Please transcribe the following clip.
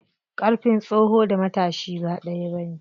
Ƙarfin tsoho da matashi ba ɗaya bane.